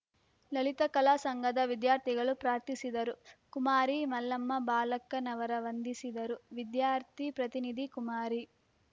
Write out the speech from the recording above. ಲಲಿತಕಲಾ ಸಂಘದ ವಿದ್ಯಾರ್ಥಿಗಳು ಪ್ರಾರ್ಥಿಸಿದರು ಕುಮಾರಿ ಮಲ್ಲಮ್ಮ ಬಾಳಕ್ಕನವರ ವಂದಿಸಿದರು ವಿದ್ಯಾರ್ಥಿ ಪ್ರತಿನಿಧಿ ಕುಮಾರಿ